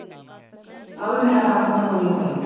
ਹਾਂ ਵੀ ਮੈਂ ਤਾਂ ਅੱਖ ਬਣਵਾਉਣੀ ਆਂ ਭਾਈ।